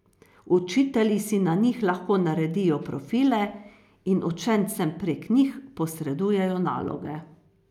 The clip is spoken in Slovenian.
Učitelji si na njih lahko naredijo profile in učencem prek njih posredujejo naloge.